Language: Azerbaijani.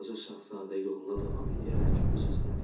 Balaca şahzadə yoluna davam eləyərək öz-özünə dedi.